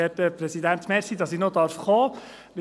Danke, dass ich noch sprechen darf.